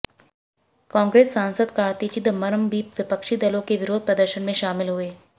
कांग्रेस सांसद कार्ति चिदंबरम भी विपक्षी दलों के विरोध प्रदर्शन में शामिल हुए